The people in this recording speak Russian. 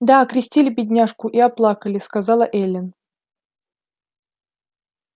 да окрестили бедняжку и оплакали сказала эллин